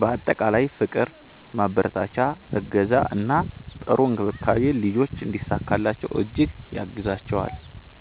በአጠቃላይ ፍቅር፣ ማበረታቻ፣ እገዛ እና ጥሩ እንክብካቤ ልጆች እንዲሳካላቸው እጅግ ያግዛቸዋል።